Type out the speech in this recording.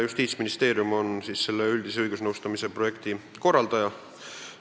Justiitsministeerium on selle üldise õigusnõustamise projekti korraldaja.